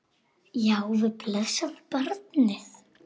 Já, við blessað barnið!